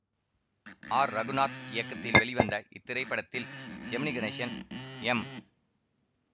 R Raghunath இயக்கத்தில் வெளிவந்த இத்திரைப்படத்தில் ஜெமினி கணேசன் எம்